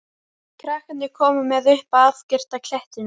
Krakkarnir koma með upp að afgirta klettinum.